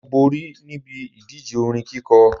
Mo borí níbi ìdíje orin kíkọ